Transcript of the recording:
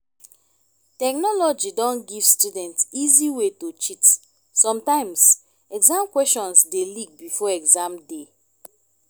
technology don give student easy wey to cheat sometimes exam questions dey leak before exam day